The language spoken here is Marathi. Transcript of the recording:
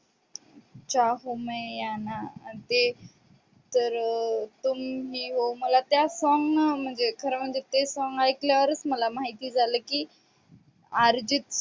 चाहू मै या ना ते तर तुम ही हो. मला त्या song म्हणजे खरं म्हणजे, ते सांगा ऐकल्यावर मला माहिती झाल की आर्जित